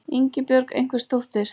Ingibjörg einhvers dóttir.